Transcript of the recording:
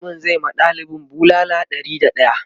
mallamin zai ma ɗalibin bulala Ɗari da daya